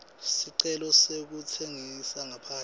sicelo sekutsengisa ngaphandle